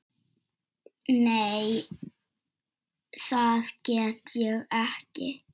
Nei, það get ég ekki.